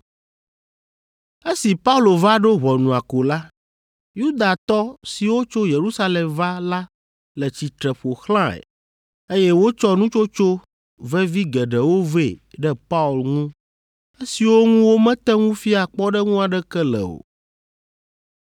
Esi Paulo va ɖo ʋɔnua ko la, Yudatɔ siwo tso Yerusalem va la le tsitre ƒo xlãe, eye wotsɔ nutsotso vevi geɖewo vɛ ɖe Paul ŋu, esiwo ŋu womete ŋu fia kpɔɖeŋu aɖeke le o.